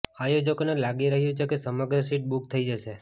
આયોજકોને લાગી રહ્યું છે કે સમગ્ર સીટ બુક થઈ જશે